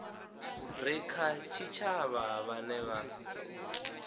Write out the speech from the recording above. re kha tshitshavha vhane vha